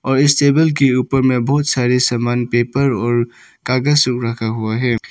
और इस टेबल के ऊपर में बहुत सारे सामान पेपर और कागज सब रखा हुआ है।